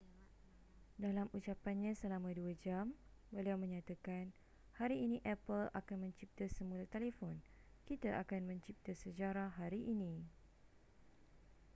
dalam ucapannya selama 2 jam beliau menyatakan hari ini apple akan mencipta semula telefon kita akan mencipta sejarah hari ini